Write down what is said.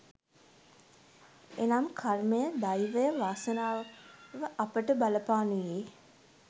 එනම් කර්මය දෛවය වාසනාව අපට බලපානුයේ